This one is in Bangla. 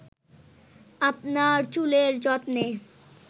আপনার চুলের যত্নে